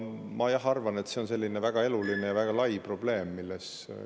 Ma arvan, et see on selline väga eluline ja väga lai probleem.